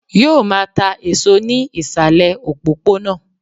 Yóò máa ta èso ní ìsàlè òpópónà